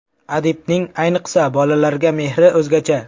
Adibning, ayniqsa bolalarga mehri o‘zgacha.